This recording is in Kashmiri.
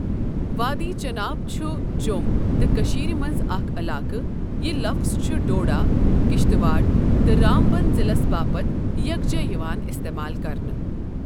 وادی چناب چھُ جۆم تہٕ کٔشیٖر مَنٛز اَکھ عَلاقہٕ یہ لَفظٕ چھُ ڈوڈہ، کشتٕواڑ تہٕ رامبن ضِلس باپتھ یکجہ یوان اِستِمال کَرنہٕ۔